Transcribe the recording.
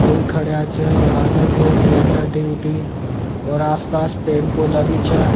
कोई खड़या छ और आधा घूम रहा छ टुई टुई और आस पास पेड़ पौधा भी छ।